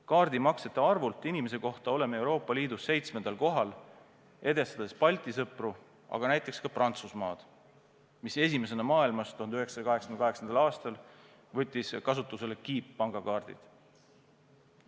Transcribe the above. Kaardimaksete arvult inimese kohta oleme Euroopa Liidus seitsmendal kohal, edestades Balti sõpru, aga näiteks ka Prantsusmaad, mis esimesena maailmas 1988. aastal võttis kasutusele kiippangakaardid.